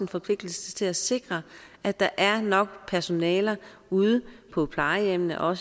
forpligtelse til at sikre at der er nok personale ude på plejehjemmene og